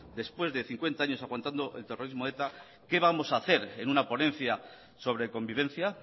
después de cincuenta años aguantando el terrorismo de eta qué vamos a hacer en una ponencia sobre convivencia